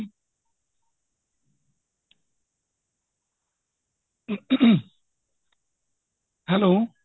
hello